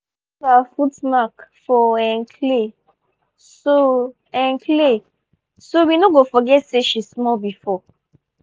we save her foot mark for um clay so um clay so we no go forget say she small before